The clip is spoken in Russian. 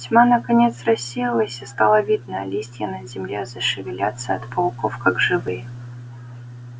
тьма наконец рассеялась и стало видно листья на земле зашевелятся от пауков как живые